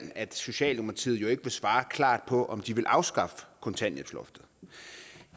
at socialdemokratiet jo ikke vil svare klart på om de vil afskaffe kontanthjælpsloftet